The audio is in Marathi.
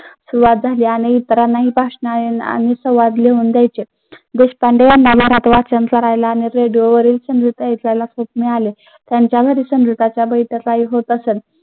आणि संवाद लिहून घ्यायचे. देशपांडे यांना मिळाले. होत असत.